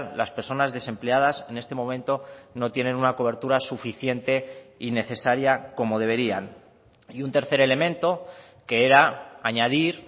las personas desempleadas en este momento no tienen una cobertura suficiente y necesaria como deberían y un tercer elemento que era añadir